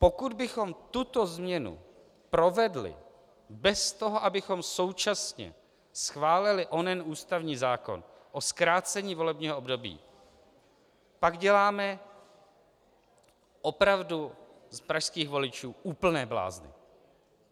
Pokud bychom tuto změnu provedli bez toho, abychom současně schválili onen ústavní zákon o zkrácení volebního období, pak děláme opravdu z pražských voličů úplné blázny.